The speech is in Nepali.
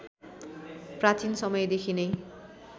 प्राचीन समयदेखि नै